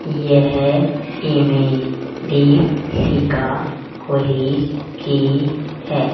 यह image Deepshikha college की है।